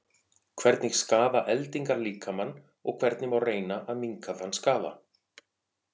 Hvernig skaða eldingar líkamann og hvernig má reyna að minnka þann skaða?